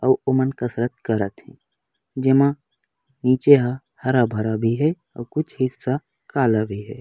अऊ ओमन कसरत करत हे जेमा निचे ह हरा-भरा भी हे अऊ कुछ हिस्सा काला भी हे।